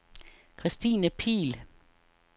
Christine Pihl